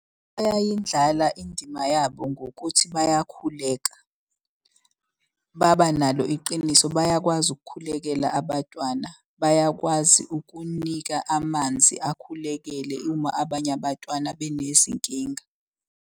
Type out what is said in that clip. Bayayindlala indima yabo ngokuthi bayakhuleka, babanalo iqiniso bayakwazi ukukhulekela abatwana. Bayakwazi ukunika amanzi akhulekele uma abanye abatwana benezinkinga.